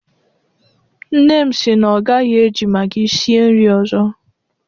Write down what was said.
Nne m si na ọ gaghị eji magi sie nri ọzọ.